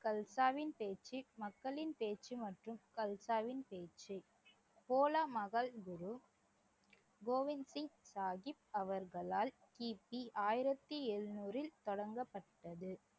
கல்சாவின் பேச்சு மக்களின் பேச்சு மற்றும் கல்சாவின் பேச்சு கோலா குரு கோவிந்த் சிங் சாஹிப் அவர்களால் கி. பி ஆயிரத்தி எழுநூறில் தொடங்கப்பட்டது